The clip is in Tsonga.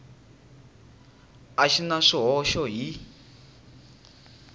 a xi na swihoxo hi